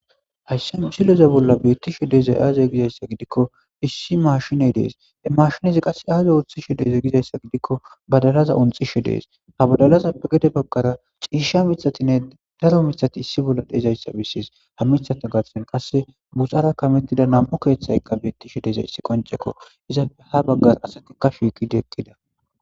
Ashsha misileza bolla beettishe deezay aaze gizayssa gidikko issi mashiney dees mashinezi qasse aaza unthishe deeze gizayssa gidikko badalaza unxishe dees ha badalaza gede baggara ciisha mitatinne daro mithati issi bolla dezayssa bissis ha mithata gaththen qasse buxara kamettida nam'u keeththayqqa beettishe deza issi qonchekko izape ha baggar asati kafigidieqqida.